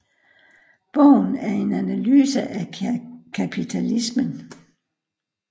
Bogen er en analyse af kapitalismen